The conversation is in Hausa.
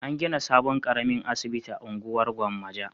An gina sabon ƙaramin asibiti a unguwar Gwammaja.